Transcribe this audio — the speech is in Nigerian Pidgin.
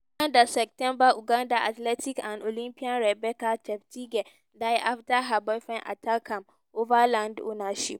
in september ugandan september ugandan athlete and olympian rebecca cheptegei die afta her boyfriendattackam ova land ownership.